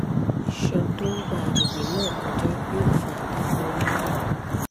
isan to n gba agbegbe na koja yoo fa irora nlà